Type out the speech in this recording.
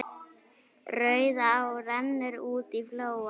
Rauðá rennur út í flóann.